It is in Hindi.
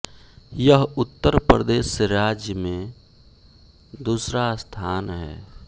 यह उत्तर प्रदेश राज्य में दूसरा स्थान है